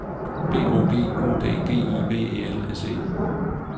B O G U D G I V E L S E